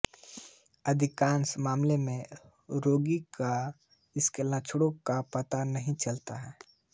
अधिकांश मामलों में रोगी का इसके लक्षणों का पता नहीं चलता